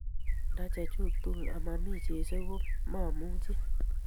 Nda chachug tugul ama mi Jesu kot mamuchi